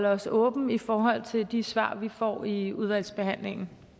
os åbent i forhold til de svar vi får i udvalgsbehandlingen